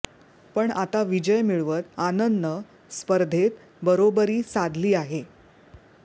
पण आता विजय मिळवत आनंदनं स्पर्धेत बरोबरी साधली आहे